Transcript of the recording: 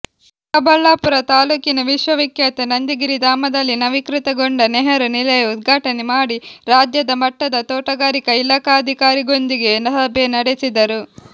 ಚಿಕ್ಕಬಳ್ಳಾಪುರ ತಾಲೂಕಿನ ವಿಶ್ವವಿಖ್ಯಾತ ನಂದಿಗಿರಿಧಾಮದಲ್ಲಿ ನವೀಕೃತಗೊಂಡ ನೆಹರು ನಿಲಯ ಉದ್ಘಾಟನೆ ಮಾಡಿ ರಾಜ್ಯದ ಮಟ್ಟದ ತೋಟಗಾರಿಕಾ ಇಲಾಖಾಧಿಕಾರಿಗೊಂದಿಗೆ ಸಭೆ ನಡೆಸಿದರು